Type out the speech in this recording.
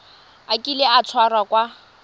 a kile a tshwarwa ka